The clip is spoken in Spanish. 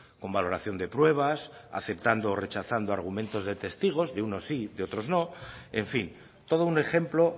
con valoración de pruebas aceptando o rechazando argumentos de testigos de unos sí de otros no en fin todo un ejemplo